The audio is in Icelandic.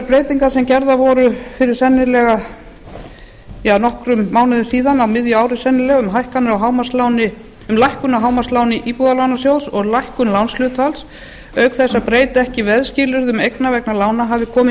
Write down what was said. breytingar sem gerðar voru fyrir sennilega nokkrum mánuðum síðan á miðju ári sennilega um lækkun á hámarksláni íbúðalánasjóðs og lækkun lánshlutfalls auk þess að breyta ekki veðskilyrðum eigna vegna lána hafi komið